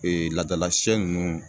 Ee laadala sɛ nunnu